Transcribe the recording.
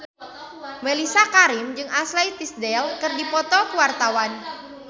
Mellisa Karim jeung Ashley Tisdale keur dipoto ku wartawan